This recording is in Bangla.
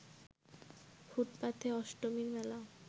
ফুটপাথে অষ্টমীর মেলা